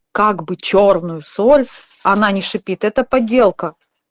как бы чёрную соль она не шипит это подделка